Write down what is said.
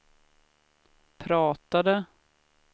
pratade